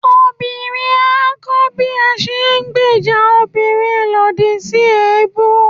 obìrin a kọ bi a se n gbèjà òbirin lodì si ebú